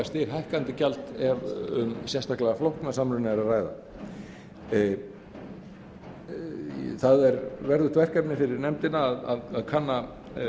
stighækkandi gjald ef um sérstaklega flókna samruna er að ræða það er verðugt verkefni fyrir nefndina að kanna